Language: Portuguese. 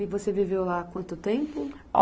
E você viveu lá quanto tempo? O